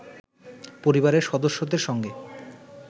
পরিবারের সদস্যদের সঙ্গে